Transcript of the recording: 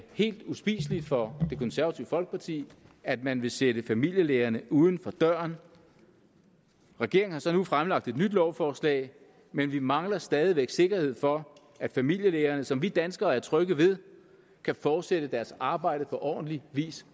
helt uspiseligt for det konservative folkeparti at man vil sætte familielægerne uden for døren regeringen har så nu fremsat et nyt lovforslag men vi mangler stadig væk sikkerhed for at familielægerne som vi danskere er trygge ved kan fortsætte deres arbejde på ordentlig vis